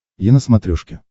е на смотрешке